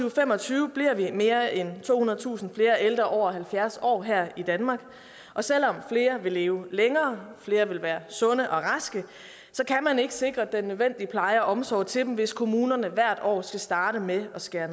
og fem og tyve bliver vi mere end tohundredetusind ældre over halvfjerds år her i danmark og selv om flere vil leve længere flere vil være sunde og raske kan man ikke sikre den nødvendige pleje og omsorg til dem hvis kommunerne hvert år skal starte med at skære